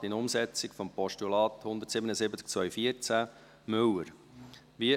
Rat in Umsetzung des Postulats 177-2014, Müller [...].